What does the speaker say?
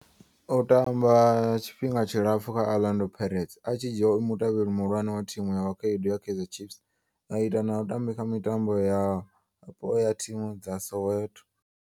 O tamba tshifhinga tshilapfhu kha Orlando Pirates, a tshi dzhiiwa e mutevheli muhulwane wa thimu ya vhakhaedu ya Kaizer Chiefs, a ita na u tamba kha mitambo yapo ya thimu dza Soweto.